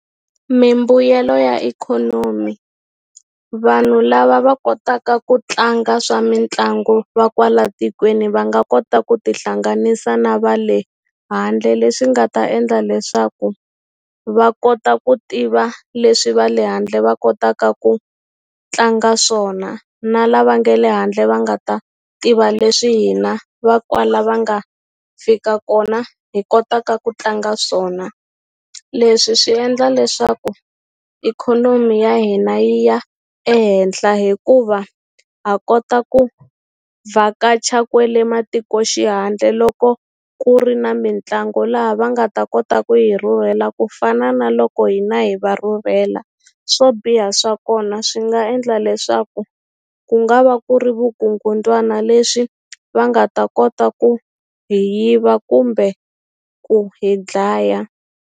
Mimbuyelo ya ikhonomi vanhu lava va kotaka ku tlanga swa mitlangu va kwala tikweni va nga kota ku tihlanganisa na va le handle leswi nga ta endla leswaku va kota ku tiva leswi va le handle va kotaka ku tlanga swona na lava nge le handle va nga ta tiva leswi hina va kwala va nga fika kona hi kotaka ku tlanga swona leswi swi endla leswaku ikhonomi ya hina yi ya ehenhla hikuva ha kota ku vhakacha kwele matikoxihandle loko ku ri na mitlangu laha va nga ta kota ku yi rhurhela ku fana na loko hina hi va rhurhela swo biha swa kona swi nga endla leswaku ku nga va ku ri vugungundzwana leswi va nga ta kota ku hi yiva kumbe ku hi dlaya.